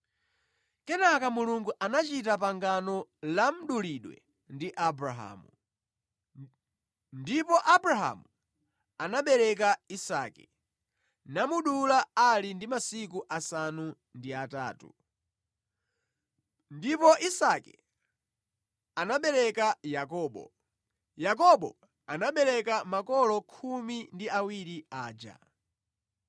Kenaka Mulungu anachita pangano la mdulidwe ndi Abrahamu. Ndipo Abrahamu, anabereka Isake, namudula ali ndi masiku asanu ndi atatu. Ndipo Isake anabereka Yakobo, Yakobo anabereka makolo khumi ndi awiri aja.